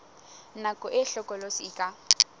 nako e hlokolosi e ka